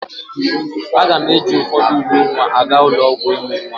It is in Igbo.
Aga m eji ụfọdụ uwe nwa aga ụlọ ọgwụ ịmụ nwa.